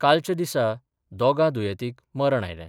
कालच्या दिसा दोगा दुयेतीक मरण आयलें.